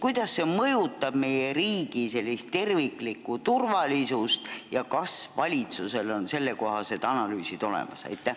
Kuidas see mõjutab meie riigi terviklikku turvalisust ja kas valitsusel on selle kohta analüüsid olemas?